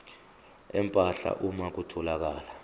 empahla uma kutholakala